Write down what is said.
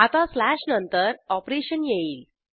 आता स्लॅश नंतर ऑपरेशन येईल